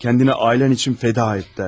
Özünü ailən üçün fəda etlərdi.